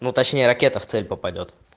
ну точнее ракета в цель попадёт